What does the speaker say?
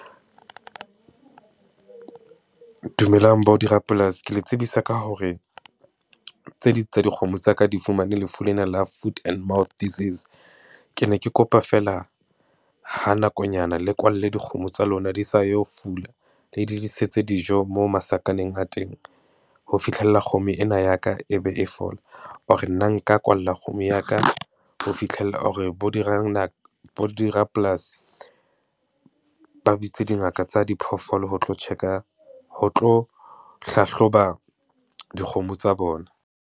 Dumelang bo dirapolasi, ke le tsebisa ka hore tse ding tsa dikgomo tsa ka di fumane lefu lena la food and mouth disease. Ke ne ke kopa feela ha nakonyana le kwalle dikgomo tsa lona di sa yo fula. Le di disetswe dijo mo masakaneng a teng, ho fihlella kgomo ena ya ka e be e fola, or nna nka kwalla kgomo ya ka ho fihlella or bo bo dirapolasi ba bitse dingaka tsa diphoofolo ho tlo check-a, ho tlo hlahloba dikgomo tsa bona.